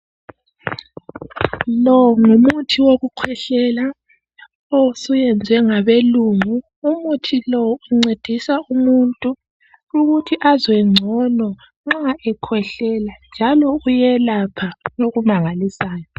Lo ngumuthi wokukhwehlela osuyenzwe ngabelungu. Umuthi lo uncedisa umuntu ukuthi azwe ngcono nxa ekhwehlela njalo uyelapha okumangalisayo.